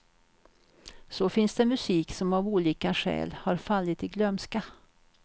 Så finns det musik som av olika skäl har fallit i glömska.